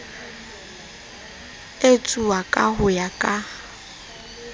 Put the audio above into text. etsuwa ka ho ya ka